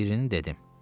Birini dedim.